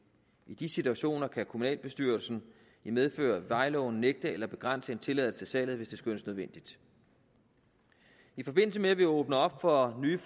i de situationer kan kommunalbestyrelsen i medfør af vejloven nægte eller begrænse en tilladelse til salget hvis det skønnes nødvendigt i forbindelse med at vi åbner op for nye